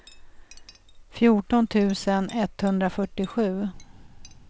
fjorton tusen etthundrafyrtiosju